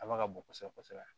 A ma ka bon kosɛbɛ kosɛbɛ